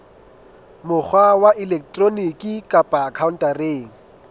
mokgwa wa elektroniki kapa khaontareng